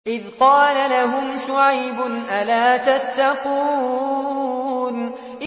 إِذْ قَالَ لَهُمْ شُعَيْبٌ أَلَا تَتَّقُونَ